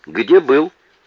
где был